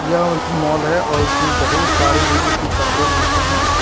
यह विर्ध्य माल है और इसमें बहुत सारे लेडीज के कपड़े मिलते हैं।